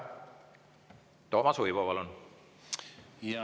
Toomas Uibo, palun!